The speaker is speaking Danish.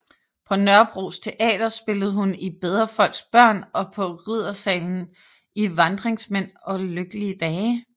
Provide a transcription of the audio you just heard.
På Nørrebros Teater spillede hun i Bedre folks børn og på Riddersalen i Vandringsmænd og Lykkelige dage